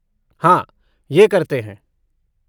हाँ, यह करते हैं।